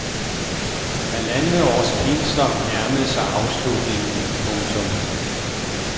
Halvandets års pinsler nærmede sig afslutningen. punktum